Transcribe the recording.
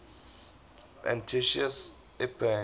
antiochus epiphanes